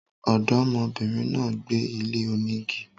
Ọ̀dọ́mọ bìnrin náà gbé ilé onígi